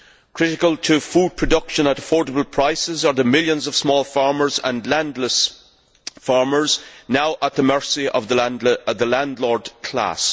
Critical to food production at affordable prices are the millions of small farmers and landless farmers now at the mercy of the landlord class.